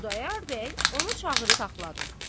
Xudayar bəy onu çağırıb saxladı.